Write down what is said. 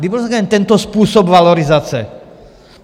Kdy byl tento způsob valorizace?